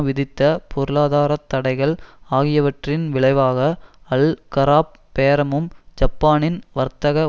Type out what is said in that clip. விதித்த பொருளாதார தடைகள் ஆகியவற்றின் விளைவாக அல் கராப் பேரமும் ஜப்பானின் வர்த்தக